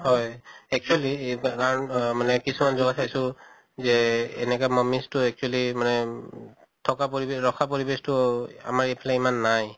হয় actually কাৰণ অহ মানে কিছুমান জগা চাইছো যে এনেকা mummies টো actually মানে থকা পৰিবেশ ৰখা পৰিবেশটো অহ আমাৰ এইফালে ইমান নাই।